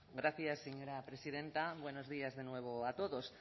gracias señora presidenta buenos días de nuevo a todos